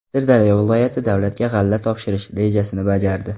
Sirdaryo viloyati davlatga g‘alla topshirish rejasini bajardi.